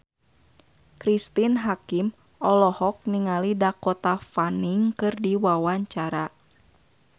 Cristine Hakim olohok ningali Dakota Fanning keur diwawancara